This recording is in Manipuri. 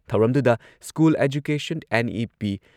ꯊꯧꯔꯝꯗꯨꯗ ꯁ꯭ꯀꯨꯜ ꯑꯦꯖꯨꯀꯦꯁꯟ ꯑꯦꯟ.ꯏ.ꯄꯤ.